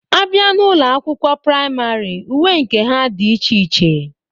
A bịa n'ụlọ akwụkwọ prayịmarị, uwe nke ha dị iche iche.